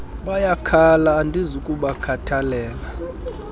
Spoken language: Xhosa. bayakhala andizi kubakhathalela